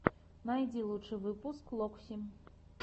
найди лучший выпуск локси